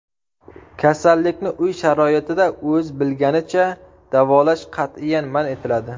Kasallikni uy sharoitida o‘z bilganicha davolash qat’iyan man etiladi .